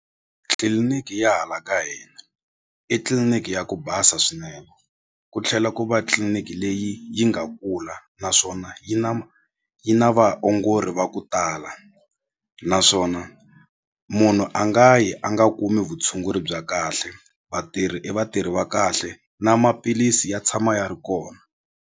tliliniki ya hala ka hina i tliliniki ya ku basa swinene ku tlhela ku va tliliniki leyi yi nga kula naswona yi na yi na vaongori va ku tala naswona munhu a nga yi a nga kumi vutshunguri bya kahle vatirhi i vatirhi va kahle na maphilisi ya tshama ya ri kona.